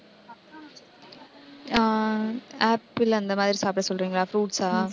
ஆஹ் apple அந்த மாதிரி சாப்பிட சொல்றீங்களா fruits ஆ